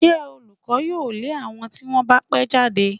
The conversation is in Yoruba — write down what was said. Ṣé olùkọ́ yóò lé àwọn tí wọ́n bá pẹ́ jáde?